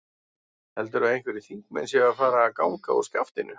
Heldurðu að einhverjir þingmenn séu að fara að ganga úr skaftinu?